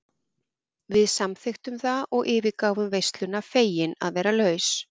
Við samþykktum það og yfirgáfum veisluna fegin að vera laus.